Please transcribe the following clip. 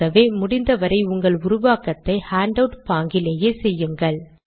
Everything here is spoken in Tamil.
ஆகவே முடிந்த வரை உங்கள் உருவாக்கத்தை ஹேண்டவுட் பாங்கிலேயே செய்யுங்கள்